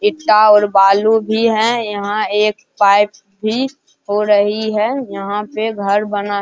ईटा और बालू भी है यहाँ एक पाइप भी हो रही है यहाँ पे घर बना --